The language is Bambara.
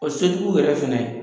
O sotigiw yɛrɛ fɛnɛ,